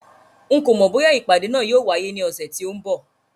N kò mọ̀ bóyá ìpàdé náà yóò wáyé ní ọ̀sẹ̀ tí ó ń bọ̀